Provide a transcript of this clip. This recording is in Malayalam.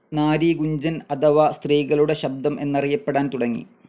നാരി ഗുഞ്ചൻ അഥവ സ്ത്രീകളുടെ ശബ്ദം എന്നറിയപ്പെടാൻ തുടങ്ങി.